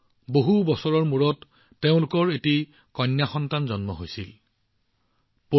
বহুতো প্ৰাৰ্থনাৰ পিছত তেওঁলোকে এজনী অতি ধুনীয়া ছোৱালী সন্তানৰ আশীৰ্বাদ লাভ কৰিছিল ছোৱালীৰ দৰে পুতলা